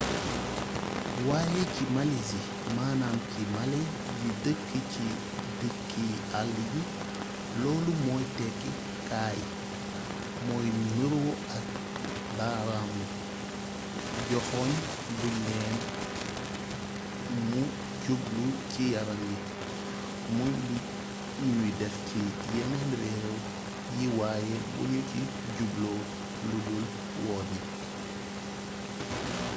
waaye ci malaisie manaam ci malais yi dëkke ci dëkki àll yi loolu mooy tekki « kaay » mooy nuroo ak baaraamu joxoñ buñ lem mu jublu ci yaram wi muy lu ñuy def ci yeneen réew yi waaye buñu ci jublu ludul woo nit